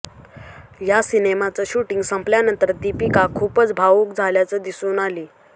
या सिनेमाचं शूटिंग संपल्यानंतर दीपिका खूपच भावुक झाल्याचं दिसून आली